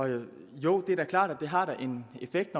jo det er da klart det har en effekt i